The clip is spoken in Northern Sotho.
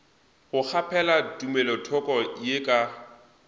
go kgaphela tumelothoko ye ka